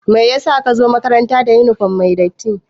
Meyasa ka zo makaranta da yunifom mai datti?